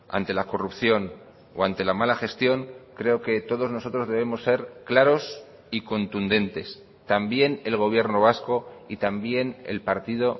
ante la corrupción o ante la mala gestión creo que todos nosotros debemos ser claros y contundentes también el gobierno vasco y también el partido